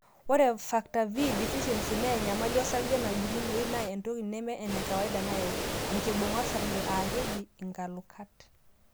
Ore factor V deficiency naa enyamali osarge najungunoyu naa entoki nemee enekawaida nayau enkibunga osarge(nkalukat)